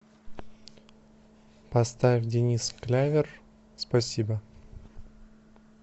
поставь денис клявер спасибо